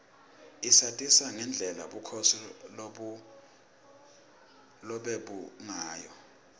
isatisa ngendlela bukhosi lobebungayo